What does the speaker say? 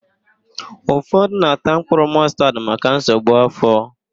Ụfọdụ na-ata mkpụrụ mọstad maka nsogbu áfọ̀.